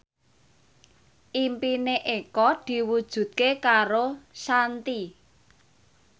impine Eko diwujudke karo Shanti